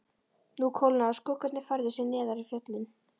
Nú kólnaði og skuggarnir færðu sig neðar í fjöllin.